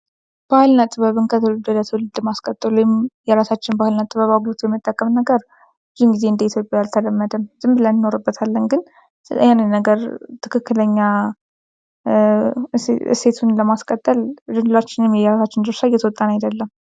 ባህልና ጥበብን ከትውልድ ወደ ትውልድ ለማስቀጠል የራሳችን ባህልና ጥበብን የመጠቀም ነገር ብዙ ጊዜ ኢትዮጵያዊ አልተለመደም። ዝም ብለን እንኖርበታለን ግን ትክክለኛ እሴቱን ለማስቀጠል ሁላችንም የእራሳችንን ድርሻ እየተወጣን አይደለም።